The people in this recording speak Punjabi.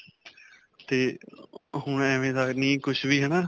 'ਤੇ ਅਅ ਹੁਣ ਐਵੇਂ ਦਾ ਨੀ ਕੁੱਝ ਵੀ ਹੈ ਨਾ.